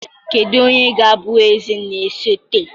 Kedu onye ga-abụ eze na-esote?